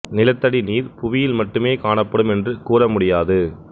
நிலத்தடி நீர் புவியில் மட்டுமே காணப்படும் என்று கூற முடியாது